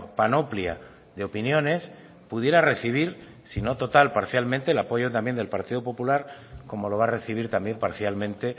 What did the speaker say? panoplia de opiniones pudiera recibir si no total parcialmente el apoyo también del partido popular como lo va a recibir también parcialmente